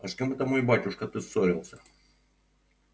а с кем это мой батюшка ты ссорился